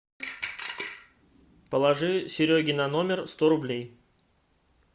положи сереге на номер сто рублей